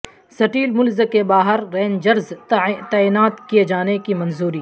steel mills کے باہر rangers تعینات کیےجانے کی منظوری